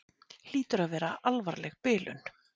Hlýtur að vera alvarleg bilun.